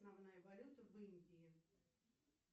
основная валюта в индии